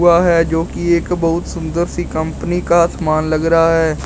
वह है जो की एक बहुत सुंदर सी कंपनी का सामान लग रहा है।